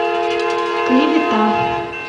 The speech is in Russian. клевета